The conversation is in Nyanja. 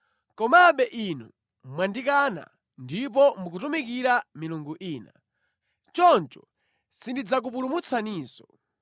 Komabe inu mwandikana ndipo mukutumikira milungu ina. Choncho sindidzakupulumutsaninso.